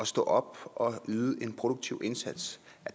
stå op og yde en produktiv indsats